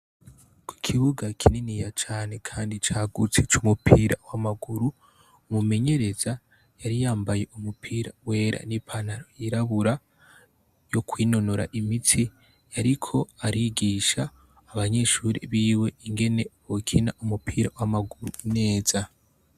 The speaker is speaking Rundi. ku kibuga kininiya cane kandi cyagutse c'umupira w'amaguru umumenyereza yari yambaye umupira wera n'ipantaro yirabura yo kwinonora imitsi yariko arigisha abanyeshuri biwe ingene bokina umupira w'amaguru neza